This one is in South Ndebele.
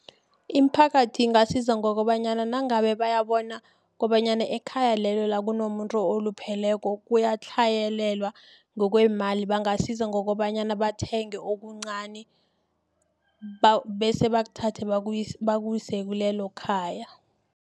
Imiphakathi ingasiza ngokobanyana nangabe bayabona kobanyana ekhaya lelo la kunomuntu olupheleko kuyatlhayelelwa ngokweemali bangasiza ngokobanyana bathenge okuncani bese bakuthathe bakuse kilelokhaya.